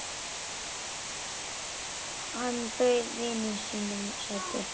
Hann bauð vininum sætið sitt.